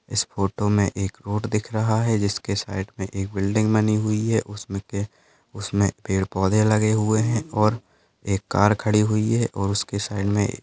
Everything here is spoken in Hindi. इस फोटो मे एक रोड दिख रहा है जिसके साइड मे एक बिल्डिंग बनी हुई है उसमे पे उसमे पेड़ पौधे लेगे हुए है और एक कार खड़ी हुई है और उसके साइड मे --